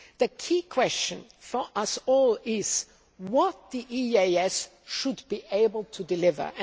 The key question for us all is what the EEAS should be able to deliver.